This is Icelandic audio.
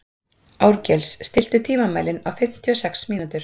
Árgils, stilltu tímamælinn á fimmtíu og sex mínútur.